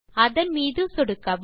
அதன் மீது சொடுக்கவும்